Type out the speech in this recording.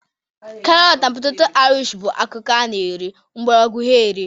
Karọtụ na peteto Ịrịsh bụ akụkụ a na-eri mgbọrọgwọ ha eri.